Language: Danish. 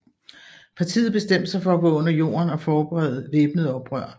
Partiet bestemte sig for at gå under jorden og forberede væbnet oprør